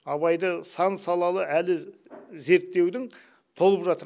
абайды сан салалы әлі зерттеудің толып жатыр